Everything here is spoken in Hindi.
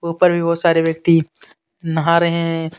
ऊपर भी बहुत सारे व्यक्ति नहा रहे हैं.